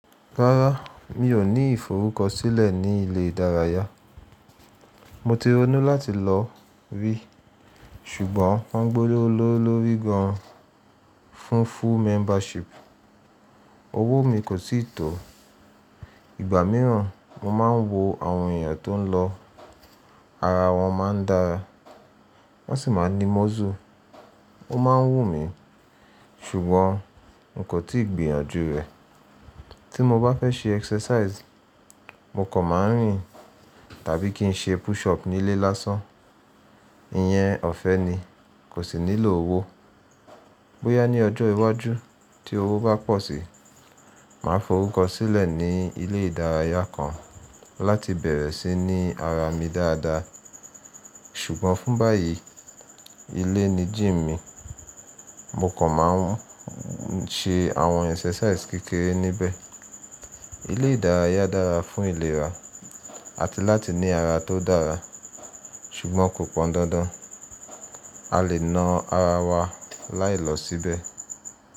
Rárá, mi ò ní ìforúkọsílẹ̀ ní ile ìdárayá. Mo ti ronú láti lọ rí, ṣùgbọ́n wọ́n gbólólóó lórí gan an fún full membership. Owó mi kò sì tó. Ìgbà mìíràn mo máa ń wo àwọn èèyàn tó ń lọ, ara wọn máa ń dára, wọ́n sì máa ń ní muscle. Ó máa ń wù mí, ṣùgbọ́n n kò tíì gbìyànjú rẹ̀. Tí mo bá fẹ́ ṣe exercise, mo kàn máa ń rìn tàbí kí n ṣe push up nílé lásán. Iyẹn ọ̀fẹ́ ni, kò sì nílò owó. Bóyá ní ọjọ́ iwájú tí owó bá pọ̀ síi, màá forúkọ sílẹ̀ ní ilé ìdárayá kan láti bẹ̀rẹ̀ sí ní ara mi dáadáa. Ṣùgbọ́n fún báyìí, ilé ni gym mi, mo kàn máa ń ṣe àwọn exercises kékeré níbẹ̀. Ilé ìdárayá dára fún ìlera àti láti ní ara tó dára, ṣùgbọ́n kò pọn dandan. A lè na ara wa láì lọ síbẹ̀.